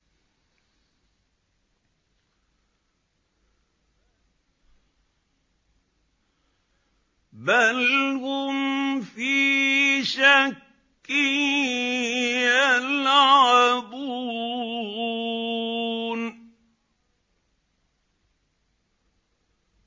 بَلْ هُمْ فِي شَكٍّ يَلْعَبُونَ